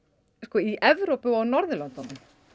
í Evrópu og á Norðurlöndunum